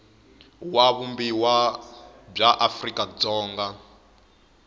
wa vumbiwa bya afrika dzonga